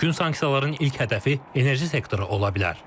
Mümkün sanksiyaların ilk hədəfi enerji sektoru ola bilər.